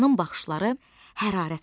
Qocanın baxışları hərarət saçırdı.